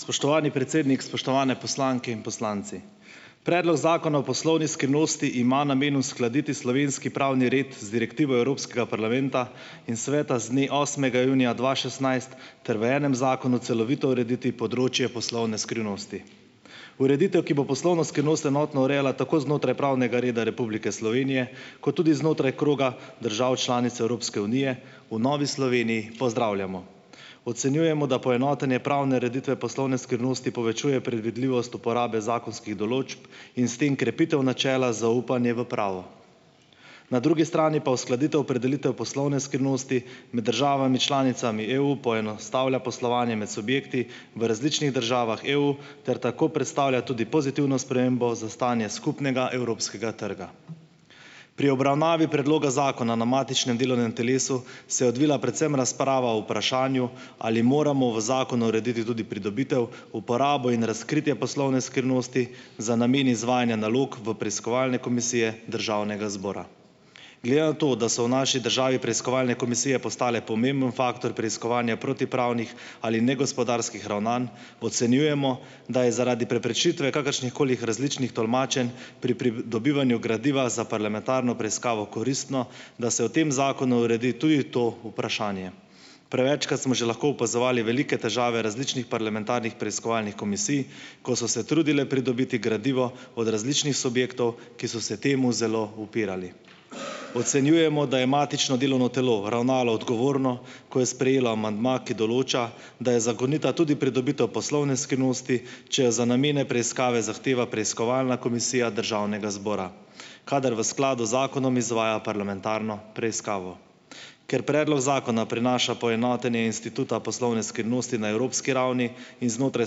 Spoštovani predsednik, spoštovane poslanke in poslanci! Predlog zakona o poslovni skrivnosti ima namen uskladiti slovenski pravni red z direktivo Evropskega parlamenta in Sveta z dne osmega junija dva šestnajst ter v enem zakonu celovito urediti področje poslovne skrivnosti. Ureditev, ki bo poslovno skrivnost enotno urejala tako znotraj pravnega reda Republike Slovenije ko tudi znotraj kroga držav članic Evropske unije v Novi Sloveniji pozdravljamo. Ocenjujemo, da poenotenje pravne ureditve poslovne skrivnosti povečuje predvidljivost uporabe zakonskih določb in s tem krepitev načela zaupanje v pravo. Na drugi strani pa uskladitev opredelitev poslovne skrivnosti med državami članicami EU poenostavlja poslovanje med subjekti v različnih državah EU ter tako predstavlja tudi pozitivno spremembo za stanje skupnega evropskega trga. Pri obravnavi predloga zakona na matičnem delovnem telesu se je odvila predvsem razprava o vprašanju, ali moramo v zakonu urediti tudi pridobitev, uporabo in razkritje poslovne skrivnosti za namen izvajanja nalog v preiskovalne komisije državnega zbora. Glede na to, da so v naši državi preiskovalne komisije postale pomemben faktor preiskovanja protipravnih ali negospodarskih ravnanj, ocenjujemo, da je zaradi preprečitve kakršnihkoli različnih tolmačenj pri pri dobivanju gradiva za parlamentarno preiskavo koristno, da se v tem zakonu uredi tudi to vprašanje. Prevečkrat smo že lahko opazovali velike težave različnih parlamentarnih preiskovalnih komisij, ko so se trudile pridobiti gradivo od različnih subjektov, ki so se temu zelo upirali. Ocenjujemo, da je matično delovno telo ravnalo odgovorno, ko je sprejelo amandma, ki določa, da je zakonita tudi pridobitev poslovne skrivnosti, če jo za namene preiskave zahteva preiskovalna komisija državnega zbora kadar v skladu z zakonom izvaja parlamentarno preiskavo. Ker predlog zakona prinaša poenotenje instituta poslovne skrivnosti na evropski ravni in znotraj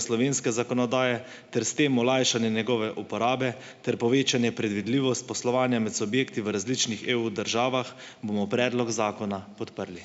slovenske zakonodaje ter s tem olajšanje njegove uporabe ter povečanje predvidljivost poslovanja med subjekti v različnih EU državah, bomo predlog zakona podprli.